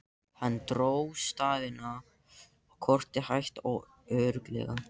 Hann dró stafina á kortið hægt og örugglega.